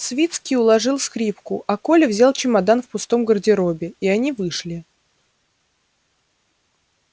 свицкий уложил скрипку а коля взял чемодан в пустом гардеробе и они вышли